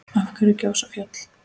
Af hverju gjósa fjöll?